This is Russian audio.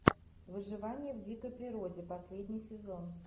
выживание в дикой природе последний сезон